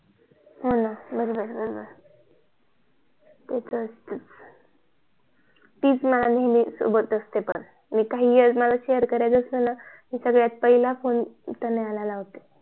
हो न बरोबर बरोबर ती माझ्या सोबत अस्ते नेहमी मला काही सांगायचं असल तरी पहिला फोन मी तिला करते